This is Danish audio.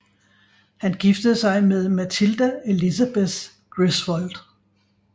Han giftede sig med Matilda Elizabeth Griswold